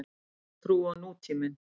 Kristin trú og nútíminn.